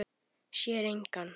Sér engan.